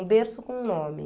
Um berço com um nome.